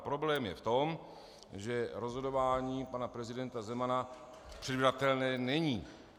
A problém je v tom, že rozhodování pana prezidenta Zemana předvídatelné není.